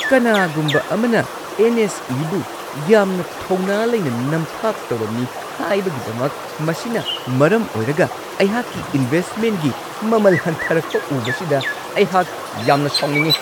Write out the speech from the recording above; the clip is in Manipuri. ꯀꯅꯥꯒꯨꯝꯕ ꯑꯃꯅ ꯑꯦꯟ. ꯑꯦꯁ.ꯏ.ꯕꯨ ꯌꯥꯝꯅ ꯊꯧꯅꯥ ꯂꯩꯅ ꯅꯝꯊꯥꯛ ꯇꯧꯔꯝꯃꯤ ꯍꯥꯏꯕꯒꯤꯗꯃꯛ ꯃꯁꯤꯅ ꯃꯔꯝ ꯑꯣꯏꯔꯒ ꯑꯩꯍꯥꯛꯀꯤ ꯏꯟꯚꯦꯁꯠꯃꯦꯟꯒꯤ ꯃꯃꯜ ꯍꯟꯊꯔꯛꯄ ꯎꯕꯁꯤꯗ ꯑꯩꯍꯥꯛ ꯌꯥꯝꯅ ꯁꯥꯎꯅꯤꯡꯉꯤ ꯫